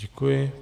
Děkuji.